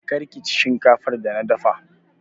Kar kici shinkafar da na dafa!